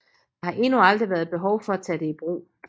Der har endnu aldrig været behov for at tage det i brug